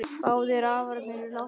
Báðir afarnir eru látnir.